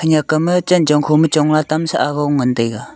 aga ma chenchong kho ma chong lah tam sah agong ngan taega.